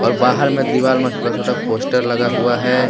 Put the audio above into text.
बाहर में दीवार में छोटा-छोटा पोस्टर लगा हुआ है।